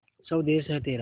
स्वदेस है तेरा